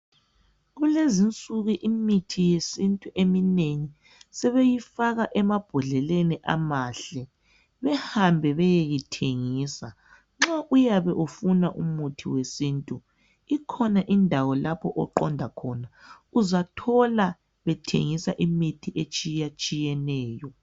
Kulezinsuku imithi yesintu eminengi sebeyifaka emambhodleleni amahle behambe beyeyithengisa nxa uyabe ufuna umuthi wesintu ikhona indawo lapho oqonda khona uzathola bethengisa imithi etshiyeneyo.